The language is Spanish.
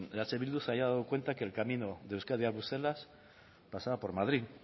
eh bildu se haya dado cuenta que el camino de euskadi a bruselas pasaba por madrid